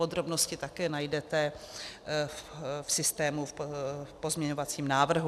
Podrobnosti také najdete v systému v pozměňovacím návrhu.